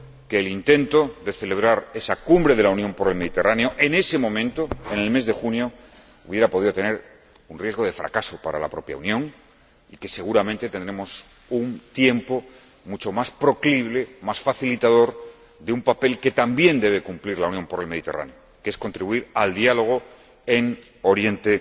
que el intento de celebrar esa cumbre de la Unión para el Mediterráneo, en ese momento, en el mes de junio, hubiera podido tener un riesgo de fracaso para la propia Unión y que, seguramente, tendremos un tiempo mucho más proclive, más facilitador, para el papel que también debe cumplir la Unión para el Mediterráneo, que es contribuir al diálogo en Oriente